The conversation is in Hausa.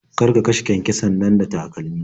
Kar ka kashe kyankyason nan da takalmi.